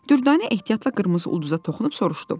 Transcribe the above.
Dürdanə ehtiyatla qırmızı ulduza toxunub soruşdu.